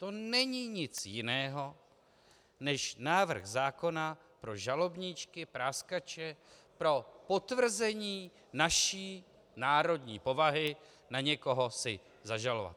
To není nic jiného než návrh zákona pro žalobníčky, práskače, pro potvrzení naší národní povahy na někoho si zažalovat.